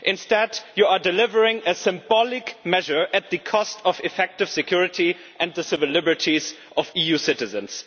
Instead, you are delivering a symbolic measure at the cost of effective security and the civil liberties of EU citizens.